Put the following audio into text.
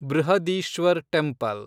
Brihadeeswar temple